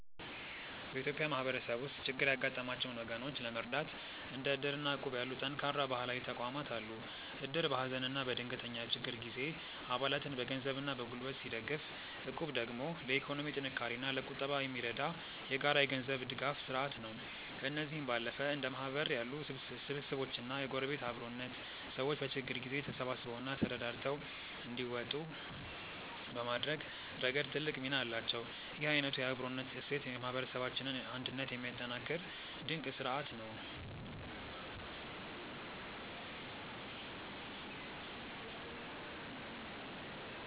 በኢትዮጵያ ማህበረሰብ ውስጥ ችግር ያጋጠማቸውን ወገኖች ለመርዳት እንደ እድር እና እቁብ ያሉ ጠንካራ ባህላዊ ተቋማት አሉ። እድር በሀዘንና በድንገተኛ ችግር ጊዜ አባላትን በገንዘብና በጉልበት ሲደግፍ፣ እቁብ ደግሞ ለኢኮኖሚ ጥንካሬና ለቁጠባ የሚረዳ የጋራ የገንዘብ ድጋፍ ስርአት ነው። ከእነዚህም ባለፈ እንደ ማህበር ያሉ ስብስቦችና የጎረቤት አብሮነት፣ ሰዎች በችግር ጊዜ ተሳስበውና ተረዳድተው እንዲወጡ በማድረግ ረገድ ትልቅ ሚና አላቸው። ይህ አይነቱ የአብሮነት እሴት የማህበረሰባችንን አንድነት የሚያጠናክር ድንቅ ስርአት ነው።